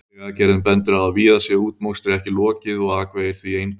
Vegagerðin bendir á að víða sé útmokstri ekki lokið og akvegir því einbreiðir.